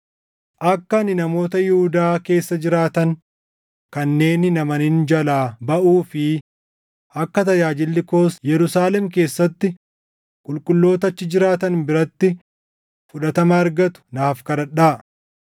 Akka ani namoota Yihuudaa keessa jiraatan kanneen hin amanin jalaa baʼuu fi akka tajaajilli koos Yerusaalem keessatti qulqulloota achi jiraatan biratti fudhatama argatu naaf kadhadhaa;